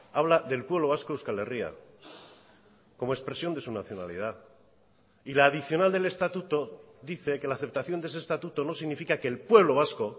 habla del pueblo vasco euskal herria como expresión de su nacionalidad y la adicional del estatuto dice que la aceptación de ese estatuto no significa que el pueblo vasco